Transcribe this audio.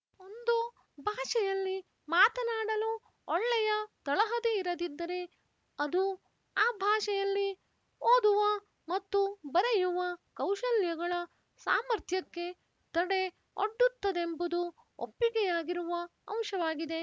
ಒಂದು ಭಾಷೆಯಲ್ಲಿ ಮಾತನಾಡಲು ಒಳ್ಳೆಯ ತಳಹದಿಯಿರದಿದ್ದರೆ ಅದು ಆ ಭಾಷೆಯಲ್ಲಿ ಓದುವ ಮತ್ತು ಬರೆಯುವ ಕೌಶಲ್ಯಗಳ ಸಾಮರ್ಥ್ಯಕ್ಕೆ ತಡೆ ಒಡ್ಡುತ್ತದೆಂಬುದು ಒಪ್ಪಿಗೆಯಾಗಿರುವ ಅಂಶವಾಗಿದೆ